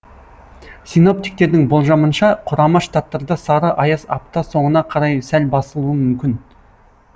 синоптиктердің болжамынша құрама штаттарда сары аяз апта соңына қарай сәл басылуы мүмкін